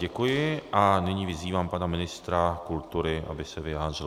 Děkuji a nyní vyzývám pana ministra kultury, aby se vyjádřil.